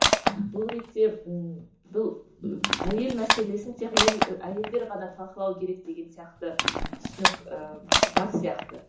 бұл ретте ммм бұл әйел мәселесін тек әйел әйелдер ғана талқылау керек деген сияқты түсінік ііі бар сияқты